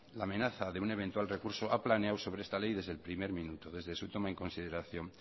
la amenaza de un eventual recurso ha planeado sobre esta ley desde el primer minuto desde su toma en consideración